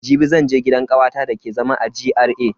Jibi zan je gidan kawata da take zama a GRA.